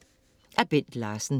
Af Bent Larsen